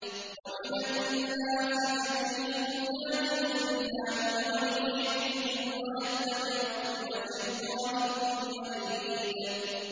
وَمِنَ النَّاسِ مَن يُجَادِلُ فِي اللَّهِ بِغَيْرِ عِلْمٍ وَيَتَّبِعُ كُلَّ شَيْطَانٍ مَّرِيدٍ